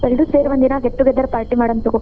ಎಲ್ಲರೂ ಸೇರಿ ಒಂದಿನಾ get together party ಮಾಡೋಣಂತ ತಗೋ.